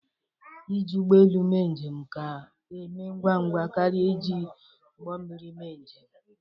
Ịji ụgbọelu mee njem ka e mee ngwa ngwa karịa iji ụgbọmmiri mee njem